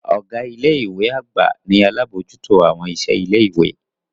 Ọga ile-iwe agba ni alabojuto awọn iṣẹ ile-iwe.